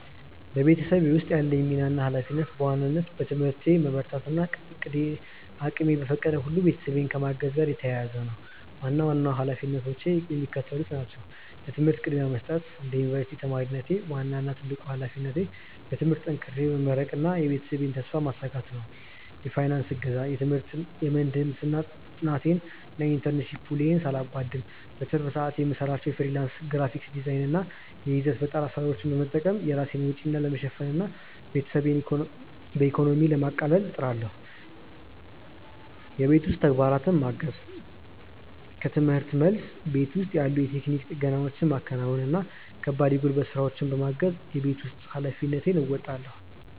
በቤተሰቤ ውስጥ ያለኝ ሚና እና ኃላፊነት በዋናነት በትምህርቴ መበርታት እና እቅሜ በፈቀደው ሁሉ ቤተሰቤን ከማገዝ ጋር የተያያዘ ነው። ዋና ዋናዎቹ ኃላፊነቶቼ የሚከተሉት ናቸው፦ ለትምህርት ቅድሚያ መስጠት፦ እንደ ዩኒቨርሲቲ ተማሪነቴ፣ ዋናው እና ትልቁ ኃላፊነቴ በትምህርቴ ጠንክሬ መመረቅና የቤተሰቤን ተስፋ ማሳካት ነው። የፋይናንስ እገዛ፦ የምህንድስና ጥናቴን እና የኢንተርንሺፕ ውሎዬን ሳላጓድል፣ በትርፍ ሰዓቴ የምሰራቸውን የፍሪላንስ ግራፊክ ዲዛይን እና የይዘት ፈጠራ ስራዎች በመጠቀም የራሴን ወጪዎች ለመሸፈን እና ቤተሰቤን በኢኮኖሚ ለማቃለል እጥራለሁ። የቤት ውስጥ ተግባራትን ማገዝ፦ ከርምህርት መልስ፣ ቤት ውስጥ ያሉ የቴክኒክ ጥገናዎችን ማከናወን እና ከባድ የጉልበት ስራዎችን በማገዝ የቤት ውስጥ ኃላፊነቴን እወጣለሁ።